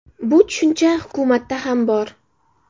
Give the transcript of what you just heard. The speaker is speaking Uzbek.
Bu tushuncha hukumatda ham bor.